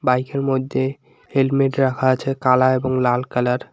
বাইখ -এর মইদ্যে হেলমেট রাখা আছে কালা এবং লাল কালার ।